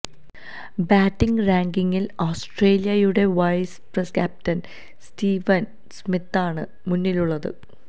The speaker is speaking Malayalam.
ബാറ്റിംഗ് റാങ്കിംഗില് ആസ്ത്രേലിയയുടെ വൈസ് ക്യാപ്റ്റന് സ്റ്റീവന് സ്മിത്താണ് മുന്നിലുള്ളത്